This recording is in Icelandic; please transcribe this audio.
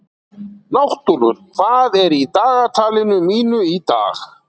Náttúlfur, hvað er í dagatalinu mínu í dag?